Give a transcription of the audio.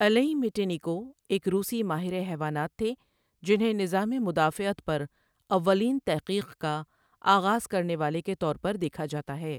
الئی مٹینیکو ایک روسی ماہر حیوانات تھے جنھیں نظام مدافعت پر اولین تحقیق کا آغآز کرنے والے کے طور پر دیکھا جاتا ہے ۔